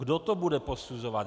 Kdo to bude posuzovat?